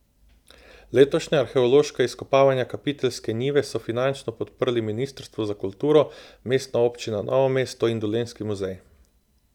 Letošnja arheološka izkopavanja Kapiteljske njive so finančno podprli ministrstvo za kulturo, Mestna občina Novo mesto in Dolenjski muzej.